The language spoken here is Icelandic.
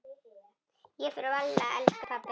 Ég fer varlega elsku pabbi.